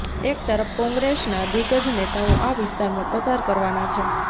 એક તરફ કોંગ્રેસના દિગ્ગજ નેતાઓ આ વિસ્તારમાં પ્રચાર કરવાના છે